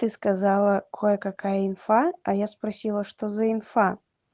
ты сказала кое какая инфа а я спросила что за инфа